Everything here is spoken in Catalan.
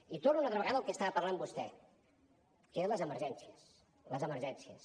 i torno una altra vegada al que estava parlant vostè que eren les emergències les emergències